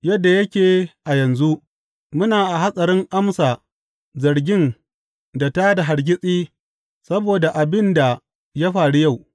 Yadda yake a yanzu, muna a hatsarin amsa zargin ta da hargitsi saboda abin da ya faru yau.